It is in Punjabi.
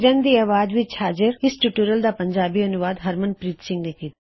ਕਿਰਨ ਦੀ ਆਵਾਜ਼ ਵਿੱਚ ਹਾਜ਼ਰ ਇਸ ਟਿਊਟੋਰਿਯਲ ਦਾ ਪੰਜਾਬੀ ਅਨੂਵਾਦ ਹਰਮਨਪ੍ਰੀਤ ਸਿੰਘ ਨੇਂ ਕੀਤਾ